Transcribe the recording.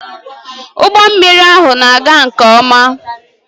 Ụgbọ mmiri ahụ na-aga nke ọma